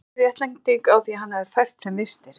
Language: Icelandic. Engin réttlæting á því að hann hefði fært þeim vistir.